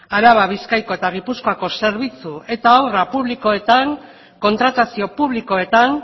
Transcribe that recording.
araba bizkaiko eta gipuzkoako zerbitzu eta obra publikoetan kontratazio publikoetan